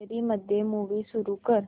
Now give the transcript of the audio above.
gallery मध्ये movie सुरू कर